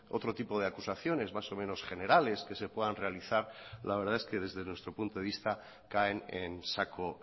otro tipo de acusaciones más o menos generales que se puedan realizar la verdad es que desde nuestro punto de vista caen en saco